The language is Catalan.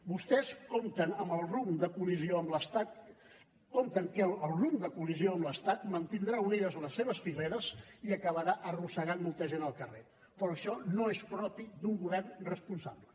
vostès compten que el rumb de col·lisió amb l’estat mantindrà unides les seves fileres i acabarà arrossegant molta gent al carrer però això no és propi d’un govern responsable